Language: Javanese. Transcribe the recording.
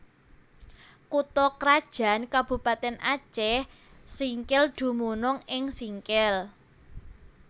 Kutha krajan Kabupatèn Acèh Singkil dumunung ing Singkil